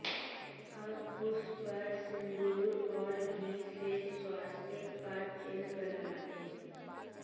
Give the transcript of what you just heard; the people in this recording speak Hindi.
अब उस पर सिंदूर और घी से स्वास्तिक का चिन्ह बना दें